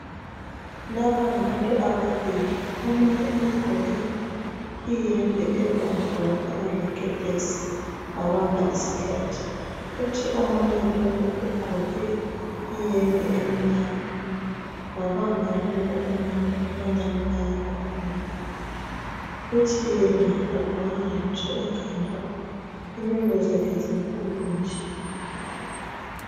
Lapha ngabantu ababili. Omunye ugqoke iyembe ebomvu wafaka lekepesi, wabamba isihlathi. Kuthi omunye lowu ugqoke iyembe emnyama wabamba lowu omunye bangani bayakhuluma kuthi yena kagqokanga lutho ekhanda inwele zakhe zinkulu nje.